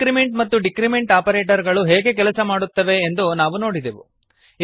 increment ಮತ್ತು decrement operator ಗಳು ಹೇಗೆ ಕೆಲಸ ಮಾಡುತ್ತವೆ ಎಂದು ನಾವು ನೋಡಿದೆವು